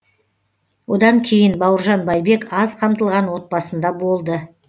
одан кейін бауыржан байбек аз қамтылған отбасында болды